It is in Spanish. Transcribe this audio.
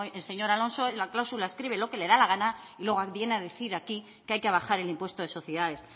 el señor alonso en la cláusula escribe lo que le da la gana y luego viene a decir aquí que hay que bajar el impuesto de sociedades